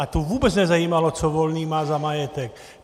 A tu vůbec nezajímalo, co má Volný za majetek.